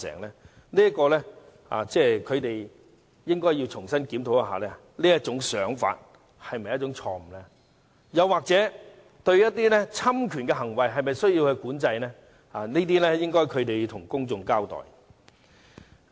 我認為他們應該重新檢討，他們這種想法是否錯誤，以及對侵權行為應否加以管制，他們需要就這些事向公眾交代。